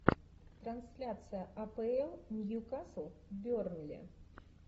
трансляция апл ньюкасл бернли